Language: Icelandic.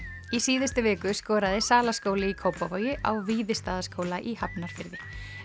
í síðustu viku skoraði Salaskóli í Kópavogi á Víðistaðaskóla í Hafnarfirði